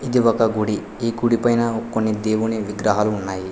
ఇది ఒక గుడి ఈ గుడి పైన కొన్ని దేవుని విగ్రహాలు ఉన్నాయి.